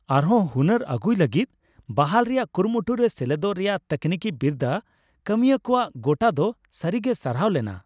ᱟᱨᱦᱚᱸ ᱦᱩᱱᱟᱹᱨ ᱟᱹᱜᱩᱭ ᱞᱟᱹᱜᱤᱫ ᱵᱟᱦᱟᱞ ᱨᱮᱭᱟᱜ ᱠᱩᱨᱩᱢᱩᱴᱩ ᱨᱮ ᱥᱮᱞᱮᱫᱚᱜ ᱨᱮᱭᱟᱜ ᱛᱟᱹᱠᱱᱤᱠᱤ ᱵᱤᱨᱫᱟᱹ ᱠᱟᱹᱢᱤᱭᱟᱹᱣᱟᱜ ᱜᱚᱴᱟ ᱫᱚ ᱥᱟᱹᱨᱤᱜᱮ ᱥᱟᱨᱦᱟᱣ ᱞᱮᱱᱟ ᱾